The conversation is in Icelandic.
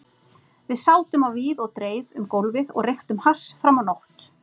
Við sátum á víð og dreif um gólfið og reyktum hass fram á nótt.